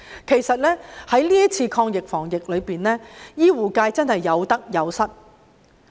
其實，在這次抗疫防疫中，醫護界真是有得有失。